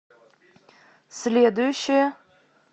следующая